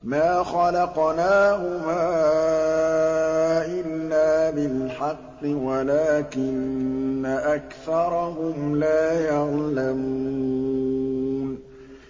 مَا خَلَقْنَاهُمَا إِلَّا بِالْحَقِّ وَلَٰكِنَّ أَكْثَرَهُمْ لَا يَعْلَمُونَ